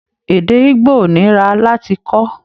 Èdè Igbo ò nira láti kọ́.